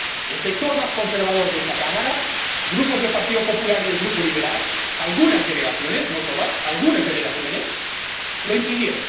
—el sector más conservador de esta Cámara grupos del Partido Popular y del Grupo Liberal, algunas delegaciones, no todas, algunas delegaciones— lo impidió.